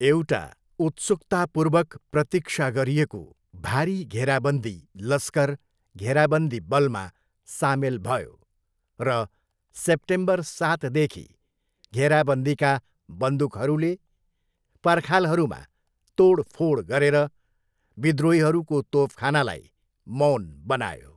एउटा उत्सुकतापूर्वक प्रतिक्षा गरिएको भारी घेराबन्दी लस्कर घेराबन्दी बलमा सामेल भयो, र सेप्टेम्बर सातदेखि, घेराबन्दीका बन्दुकहरूले पर्खालहरूमा तोडफोड गरेर विद्रोहीहरूको तोपखानालाई मौन बनायो।